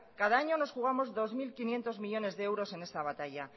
cada año nos jugamos dos mil quinientos millónes de euros en esta batalla